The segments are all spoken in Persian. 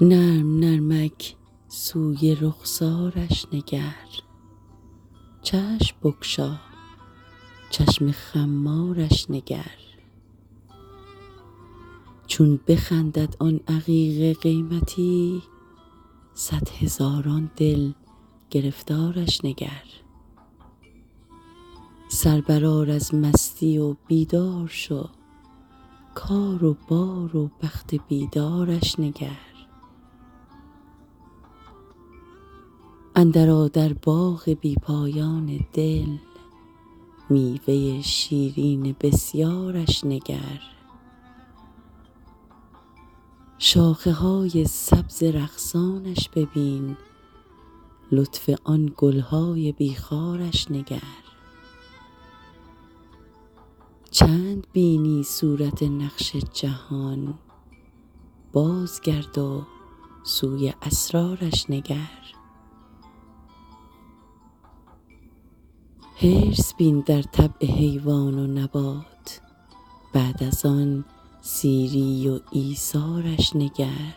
نرم نرمک سوی رخسارش نگر چشم بگشا چشم خمارش نگر چون بخندد آن عقیق قیمتی صد هزاران دل گرفتارش نگر سر برآر از مستی و بیدار شو کار و بار و بخت بیدارش نگر اندرآ در باغ بی پایان دل میوه شیرین بسیارش نگر شاخه های سبز رقصانش ببین لطف آن گل های بی خارش نگر چند بینی صورت نقش جهان بازگرد و سوی اسرارش نگر حرص بین در طبع حیوان و نبات بعد از آن سیری و ایثارش نگر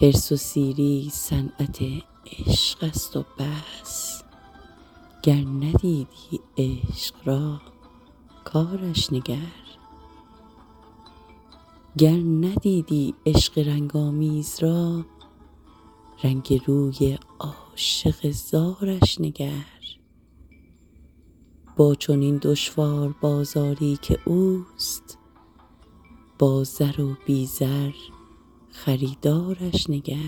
حرص و سیری صنعت عشقست و بس گر ندیدی عشق را کارش نگر گر ندیدی عشق رنگ آمیز را رنگ روی عاشق زارش نگر با چنین دشوار بازاری که اوست با زر و بی زر خریدارش نگر